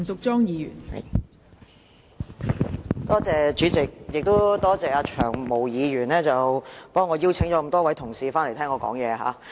代理主席，我要多謝"長毛"議員替我邀請了多位同事回來聽我發言。